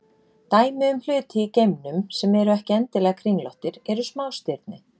Dæmi um hluti í geimnum sem eru ekki endilega kringlóttir eru smástirni.